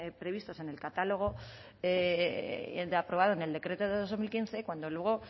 previstos en el catálogo aprobado en el decreto de dos mil quince cuando luego